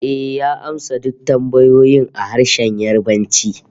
Ehh, ya amsa duk tambayoyin a harshen Yarbanci